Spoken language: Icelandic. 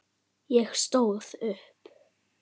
Ég stóð upp.